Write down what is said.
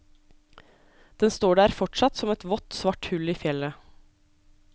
Den står der fortsatt som et vått, svart hull i fjellet.